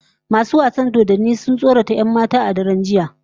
Masu wasan dodanni sun tsorata 'yan matan a daren jiya